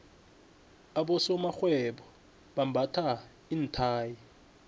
abosomarhwebo bambatha iinthayi